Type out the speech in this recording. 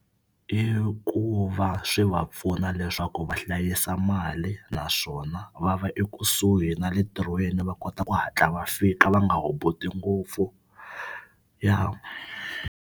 I ku va swi va pfuna leswaku va hlayisa mali naswona va va ekusuhi na le ntirhweni va kota ku hatla va fika va nga hubuti ngopfu ya.